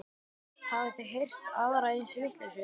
Hafið þið heyrt aðra eins vitleysu?